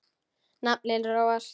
Naflinn róast.